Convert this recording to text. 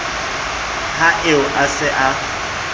ha eo a se a